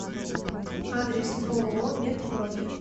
адрес ооо медпрофи